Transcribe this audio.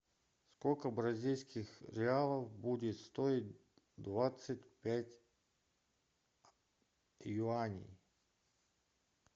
сколько бразильских реалов будет стоить двадцать пять юаней